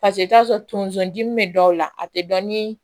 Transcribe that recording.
Paseke i t'a sɔrɔ tonso dimi bɛ dɔw la a tɛ dɔn ni